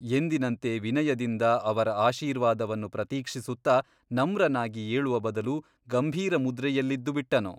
ಎಂದಿನಂತೆ ವಿನಯದಿಂದ ಅವರ ಆಶೀರ್ವಾದವನ್ನು ಪ್ರತೀಕ್ಷಿಸುತ್ತ ನಮ್ರನಾಗಿ ಏಳುವ ಬದಲು ಗಂಭೀರಮುದ್ರೆಯಲ್ಲಿದ್ದುಬಿಟ್ಟನು.